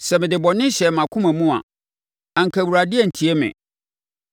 Sɛ mede bɔne hyɛɛ mʼakomam a, anka Awurade antie me.